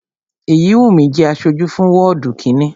Èyíwùnmí jẹ́ aṣojú fún wọ́ọ̀dù kínni